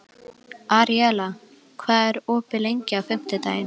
Aríela, hvað er opið lengi á fimmtudaginn?